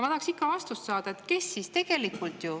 Ma tahaksin ikka vastust saada.